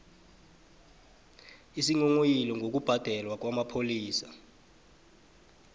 isinghonghoyilo ngokubhalelwa kwamapholisa